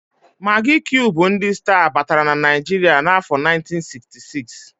Magị kiub ndị sta batara na Naịjiria n'afọ 1966.